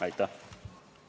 Aitäh!